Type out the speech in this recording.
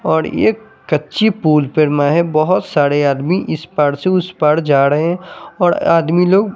और एक कच्ची पुल पर मैं बहोत सारे आदमी इस पार से उसे पार जा रहे हैं और आदमी लोग--